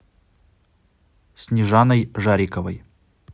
снежаной жариковой